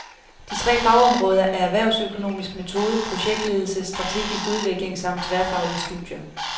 De tre fagområder er erhvervsøkonomisk metode, projektledelse, strategisk udvikling samt tværfaglige studier.